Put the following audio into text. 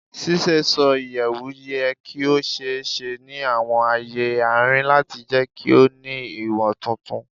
Ṣiṣeṣọ iyẹwu yẹ ki o ṣee ṣe ni awọn aaye arin lati jẹ ki o ni iwo tuntun